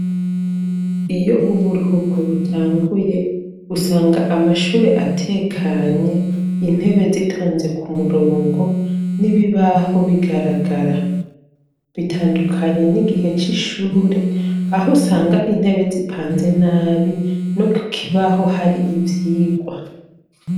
Iyo uburuhuko butanguye usanga amashure atekanye, intebe zitonze ku murongo n'ibibaho bigaragara. Bitandukanye n'igihe c'ishure aho usanga intebe zipanze nabi no ku kibaho hari ivyigwa.